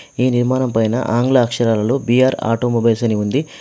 ఈ నిర్మాణం పైన ఆంగ్ల అక్షరాలలో బీ_ఆర్ ఆటోమొబైల్స్ అని ఉంది.